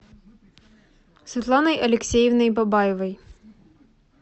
светланой алексеевной бабаевой